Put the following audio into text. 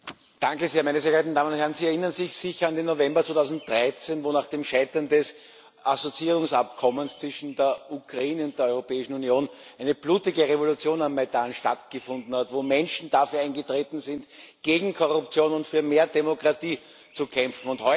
Frau Präsidentin, meine Damen und Herren! Sie erinnern sich sicher an den November 2013, wo nach dem Scheitern des Assoziierungsabkommens zwischen der Ukraine und der Europäischen Union eine blutige Revolution am Majdan stattgefunden hat, wo Menschen dafür eingetreten sind, gegen Korruption und für mehr Demokratie zu kämpfen.